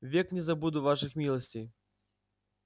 век не забуду ваших милостей